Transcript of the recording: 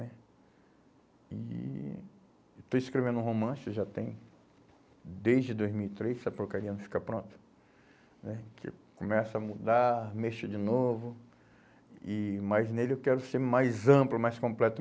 né? E... Estou escrevendo um romance, já tem desde dois mil e três, essa porcaria não fica pronta, né, que começa a mudar, mexer de novo, e mas nele eu quero ser mais amplo, mais completo.